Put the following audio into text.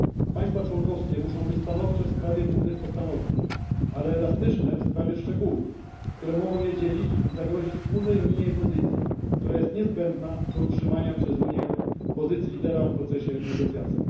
Państwa członkowskie muszą być stanowcze w sprawie głównych postanowień, ale elastyczne w sprawie szczegółów, które mogą je dzielić, nie zagrażając wspólnemu unijnemu stanowisku, które jest niezbędne do utrzymania przez Unię pozycji lidera w procesie negocjacji.